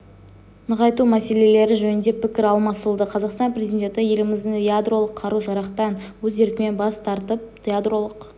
нығайту мәселелері жөнінде пікір алмасылды қазақстан президенті еліміздің ядролық қару-жарақтан өз еркімен бас тартып ядролық